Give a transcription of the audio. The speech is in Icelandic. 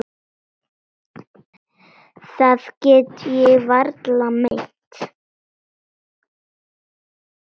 Það get ég varla meint.